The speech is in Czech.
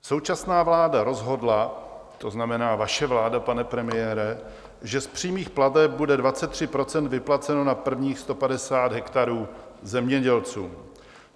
Současná vláda rozhodla, to znamená vaše vláda, pane premiére, že z přímých plateb bude 23 % vyplaceno na prvních 150 hektarů zemědělcům.